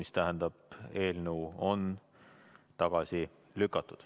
See tähendab, et eelnõu on tagasi lükatud.